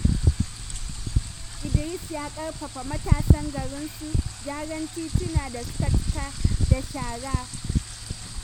Idris ya ƙarfafa matasan garinsu su gyara titunan da suka cika da shara.